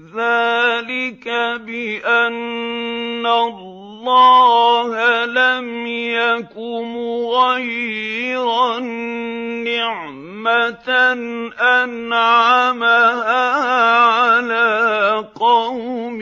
ذَٰلِكَ بِأَنَّ اللَّهَ لَمْ يَكُ مُغَيِّرًا نِّعْمَةً أَنْعَمَهَا عَلَىٰ قَوْمٍ